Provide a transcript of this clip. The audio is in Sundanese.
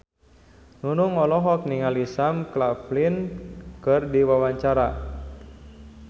Nunung olohok ningali Sam Claflin keur diwawancara